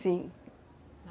Sim.